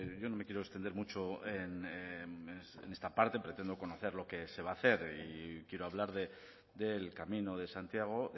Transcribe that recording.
yo no me quiero extender mucho en esta parte pretendo conocer lo que se va a hacer y quiero hablar del camino de santiago